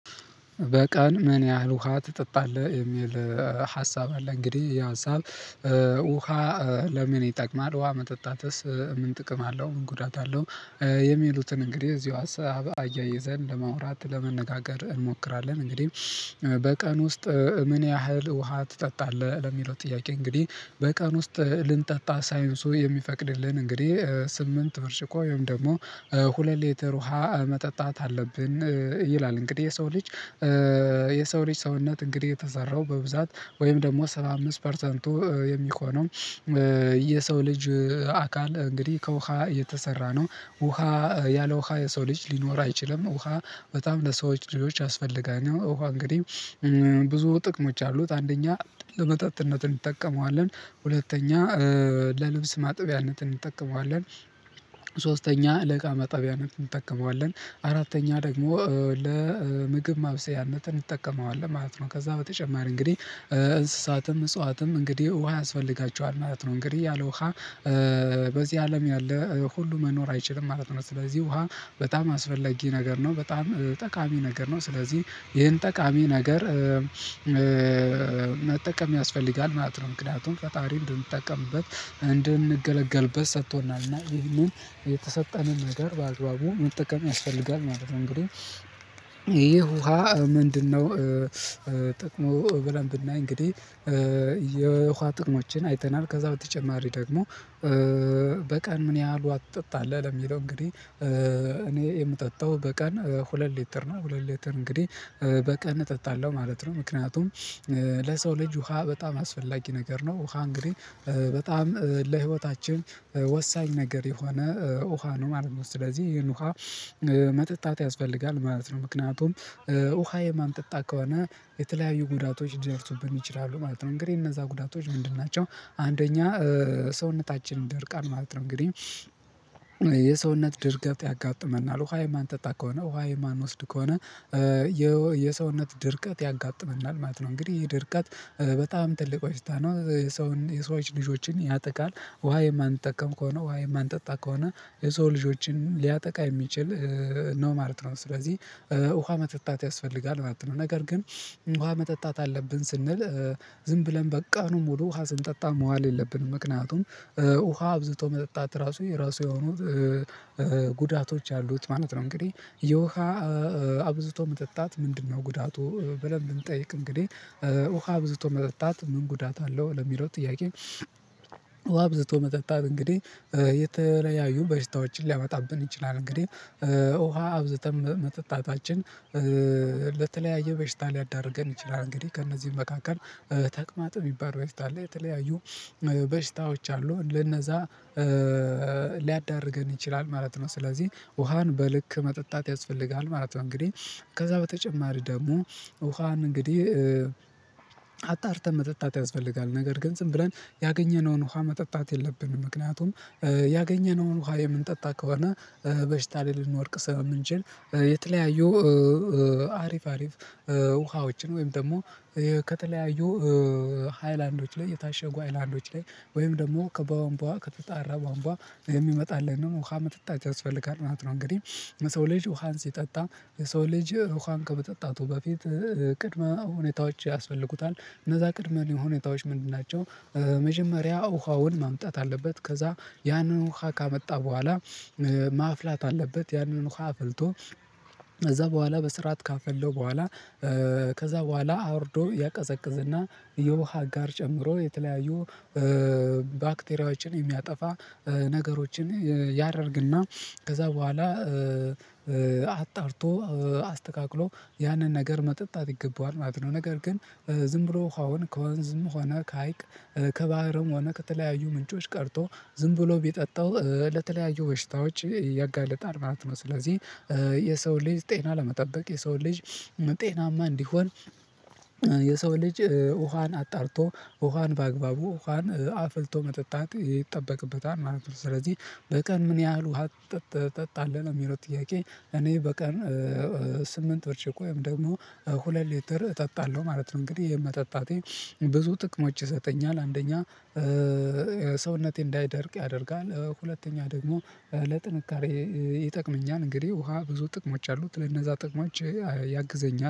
በቀን ምን ያህል ውሃ ትጠጣለህ? የሚል ሀሳብ አለ። እንግዲህ ይህ ሀሳብ ውሃ ለምን ይጠቅማል? ውሃ መጠጣትስ ምን ጥቅም አለው? ምን ጉዳት አለው? የሚሉትን እንግዲህ እዚሁ አሰብ አያይዘን ለማውራት ለመነጋገር እንሞክራለን። እንግዲህ በቀን ውስጥ ምን ያህል ውሃ ትጠጣለህ ለሚለው ጥያቄ እንግዲህ በቀን ውስጥ ልንጠጣ ሳይንሱ የሚፈቅድልን እንግዲህ ስምንት ብርጭቆ ወይም ደግሞ ሁለት ሌተር ውሃ መጠጣት አለብን ይላል። እንግዲህ የሰው ልጅ። የሰው ልጅ ሰውነት እንግዲህ የተሰራው በብዛት ወይም ደግሞ ሰባ አምስት ፐርሰንቱ የሚኮነው። የሰው ልጅ አካል እንግዲህ ከውሃ የተሰራ ነው። ውሃ ያለ ውሃ የሰው ልጅ ሊኖር አይችልም። ውሃ በጣም ለሰዎች ልጆች ያስፈልጋል ነው ውሃ እንግዲህ ብዙ ጥቅሞች አሉት። አንደኛ ለመጠጥነት እንጠቀመዋለን። ሁለተኛ ለልብስ ማጥቢያነት እንጠቀመዋለን። ለእቃ መጠቢያነት እንጠቀመዋለን። አራተኛ ደግሞ ለምግብ ማብሰያነት እንጠቀመዋለን ማለት ነው። ከዛ በተጨማሪ እንግዲህ እንስሳትም እጽዋትም እንግዲህ ውሃ ያስፈልጋቸዋል ማለት ነው። እንግዲህ ያለ ውሃ በዚህ አለም ያለ ሁሉ መኖር አይችልም ማለት ነው። ስለዚህ ውሃ በጣም አስፈለጊ ነገር ነው በጣም ጠቃሚ ነገር ነው። ስለዚህ ይሄን ጠቃሚ ነገር መጠቀም ያስፈልጋል ማለት ነው። ምክንያቱም ፈጣሪ እንድንጠቀምበት እንድንገለገልበት ሰጥቶናል እና ይህንን የተሰጠንን ነገር በአግባቡ መጠቀም ያስፈልጋል ማለት ነው። እንግዲህ ይሄ ውሃ ምንድነው? ጥቅሙ ብለን ብናይ እንግዲህ የውሃ ጥቅሞችን አይተናል። ከዛ በተጨማሪ ደግሞ በቀን ምን ያህሉ ውሃ ትጠጣለህ? ለሚለው እንግዲህ እኔ የምጠጣው በቀን ሁለት ሊትር ነው ሁለት ሊትር እንግዲህ በቀን እጠጣለሁ ማለት ነው። ምክንያቱም ለሰው ልጅ ውሃ በጣም አስፈላጊ ነገር ነው። ውሃ እንግዲህ በጣም ለህይወታችን ወሳኝ ነገር የሆነ ውሃ ነው ማለት ነው። ስለዚህ ይሄን ውሃ መጠጣት ያስፈልጋል ማለት ነው። ምክንያቱም ውሃ የማንጠጣ ከሆነ የተለያዩ ጉዳቶች ሊደርሱብን ይችላሉ ማለት ነው። እንግዲህ እነዛ ጉዳቶች ምንድን ናቸው? አንደኛ ሰውነታችን ይደርቃል ማለት ነው። እንግዲህ የሰውነት ድርቀት ያጋጥመናል ውሃ የማንጠጣ ከሆነ ውሃ የማንወስድ ከሆነ የሰውነት ድርቀት ያጋጥመናል ማለት ነው። እንግዲህ ይሄ ድርቀት በጣም ትልቅ በሽታ ነው። የሰው የሰዎች ልጆችን ያጠቃል ውሃ የማንጠቀም ከሆነ ውሃ የማንጠጣ ከሆነ የሰው ልጆችን ሊያጠቃ የሚችል ነው ማለት ነው። ስለዚህ ውሃ መጠጣት ያስፈልጋል ማለት ነው። ነገር ግን ውሃ መጠጣት አለብን ስንል ዝም ብለን በቀኑ ሙሉ ውሃ ስንጠጣ መዋል የለብንም ምክንያቱም ውሃ አብዝቶ መጠጣት ራሱ የራሱ የሆኑ ጉዳቶች አሉት ማለት ነው። እንግዲህ የውሃ አብዝቶ መጠጣት ምንድነው? ጉዳቱ ብለን ብንጠይቅ እንግዲህ ውሃ አብዝቶ መጠጣት ምን ጉዳት አለው? ለሚለው ጥያቄ አብዝቶ መጠጣት እንግዲህ የተለያዩ በሽታዎችን ሊያመጣብን ይችላል። እንግዲህ ውሃ አብዝተን መጠጣታችን ለተለያየ በሽታ ሊያዳርገን ይችላል። እንግዲህ ከእነዚህ መካከል ተቅማጥ የሚባለው በሽታ ላይ የተለያዩ በሽታዎች አሉ ለነዛ ሊያዳርገን ይችላል ማለት ነው። ስለዚህ ውሃን በልክ መጠጣት ያስፈልጋል ማለት ነው። እንግዲህ ከዛ በተጨማሪ ደግሞ ውሃን እንግዲህ አጣርተን መጠጣት ያስፈልጋል። ነገር ግን ዝም ብለን ያገኘነውን ውሃ መጠጣት የለብንም ምክንያቱም ያገኘነውን ውሃ የምንጠጣ ከሆነ በሽታ ላይ ልንወድቅ ስለምንችል የተለያዩ አሪፍ አሪፍ ውሃዎችን ወይም ደግሞ ከተለያዩ ሃይላንዶች ላይ የታሸጉ ሃይላንዶች ላይ ወይም ደግሞ ከቧንቧ ከተጣራ ቧንቧ የሚመጣልን ነው ውሃ መጠጣት ያስፈልጋል ማለት ነው። እንግዲህ ሰው ልጅ ውሃን ሲጠጣ የሰው ልጅ ውሃን ከመጠጣቱ በፊት ቅድመ ሁኔታዎች ያስፈልጉታል። እነዛ ቅድመ ሁኔታዎች ምንድን ናቸው? መጀመሪያ ውሃውን ማምጣት አለበት። ከዛ ያንን ውሃ ካመጣ በኋላ ማፍላት አለበት። ያንን ውሃ አፍልቶ ከዛ በኋላ በስርዓት ካፈለው በኋላ ከዛ በኋላ አውርዶ ያቀዘቅዝና የውሃ ጋር ጨምሮ የተለያዩ ባክቴሪያዎችን የሚያጠፋ ነገሮችን ያደርግና ከዛ በኋላ አጣርቶ አስተካክሎ ያንን ነገር መጠጣት ይገባዋል ማለት ነው። ነገር ግን ዝም ብሎ ውሃውን ከወንዝም ሆነ ከሀይቅ ከባህርም ሆነ ከተለያዩ ምንጮች ቀድቶ ዝም ብሎ ቢጠጣው ለተለያዩ በሽታዎች ያጋልጣል ማለት ነው። ስለዚህ የሰው ልጅ ጤና ለመጠበቅ የሰው ልጅ ጤናማ እንዲሆን የሰው ልጅ ውሃን አጣርቶ ውሃን በአግባቡ ውሃን አፍልቶ መጠጣት ይጠበቅበታል ማለት ነው። ስለዚህ በቀን ምን ያህል ውሃ ጠጥ ትጠጣለህ ነው የሚለው ጥያቄ? እኔ በቀን ስምንት ብርጭቆ ወይም ደግሞ ሁለት ሊትር እጠጣለሁ ማለት ነው። እንግዲህ ይሄ መጠጣቴ ብዙ ጥቅሞች ይሰጠኛል አንደኛ ሰውነቴ እንዳይደርቅ ያደርጋል። ሁለተኛ ደግሞ ለጥንካሬ ይጠቅመኛል። እንግዲህ ውሃ ብዙ ጥቅሞች አሉት ለነዛ ጥቅሞች ያግዘኛል